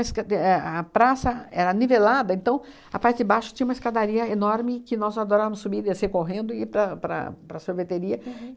a escad éh a praça era nivelada, então, a parte de baixo tinha uma escadaria enorme que nós adorávamos subir e descer correndo e ir para a para a para a sorveteria.